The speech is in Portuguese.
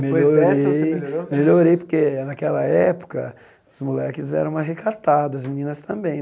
Melhorei, Depois dessa você melhorou Melhorei porque, naquela época, os moleques eram mais recatados, as meninas também.